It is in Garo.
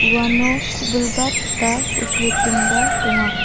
uano ku·bilbat ba kusilitingba donga.